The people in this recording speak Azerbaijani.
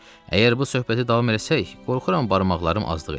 Əgər bu söhbəti davam eləsək, qorxuram barmaqlarım azlıq eləyə.